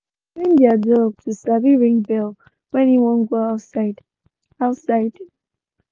they been train their dog to sabi ring bell when e wan go outside. outside.